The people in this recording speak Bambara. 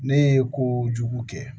Ne ye ko jugu kɛ